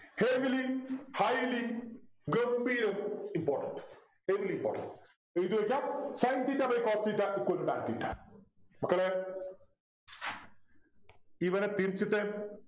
Heavily highly ഗംഭീരം important very important എഴുതി വെക്കുക Sin theta by Cos theta equal to tan theta മക്കളെ ഇവനെ തിരിച്ചിട്ടേ